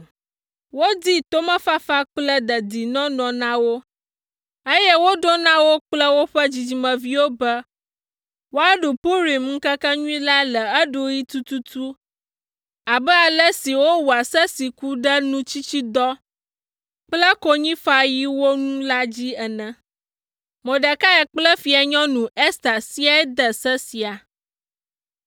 Wodi tomefafa kple dedinɔnɔ na wo, eye woɖo na wo kple woƒe dzidzimeviwo be woaɖu Purim ŋkekenyui la le eɖuɣi tututu abe ale si wowɔa se siwo ku ɖe nutsitsidɔ kple konyifaɣiwo ŋu la dzi ene. Mordekai kple Fianyɔnu Ester siaae de se sia.